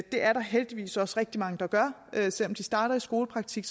er der heldigvis også rigtig mange der gør selv om de starter i skolepraktik